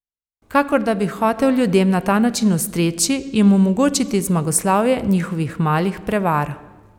Kakor da bi hotel ljudem na ta način ustreči, jim omogočiti zmagoslavje njihovih malih prevar.